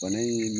Bana in